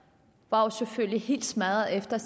var jo selvfølgelig helt smadrede efter